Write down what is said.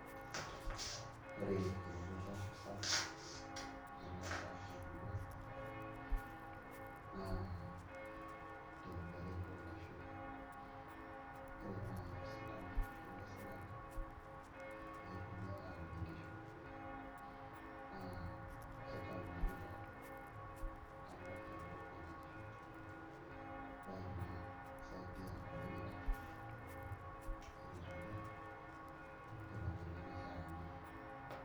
Ore ereteto sapuk naitaasa emurua naa teudore onkishu ore naai osindano oishorua sirkali meetuni aaud nkishu naa kaitau nanu keon alo aibok nena kishu embaye ina naa kisaidia community tereteto o tenkoitoi naishiakinore.